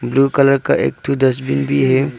Blue colour का एक तो डस्टबिन भी है।